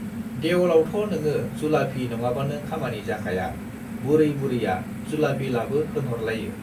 देवलावथ' नोङो जुलाफि नङाबानो खामानि जाखाया बुरै बुरैया जुलाफि लाबो होनहरलायो।